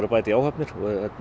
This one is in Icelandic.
að bæta í áhafnir